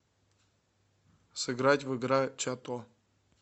сыграть в игра чато